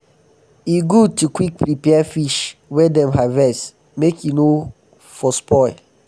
e good to quick prepare fish wey dem harvest make e no for spoil.